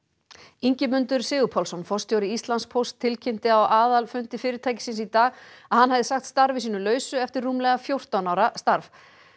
Ingimundur Sigurpálsson forstjóri Íslandspósts tilkynnti á aðalfundi fyrirtækisins í dag að hann hefði sagt starfi sínu lausu eftir rúmlega fjórtán ára starf